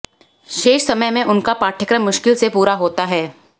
शेष समय में उनका पाठ्यक्रम मुश्किल से पूरा होता है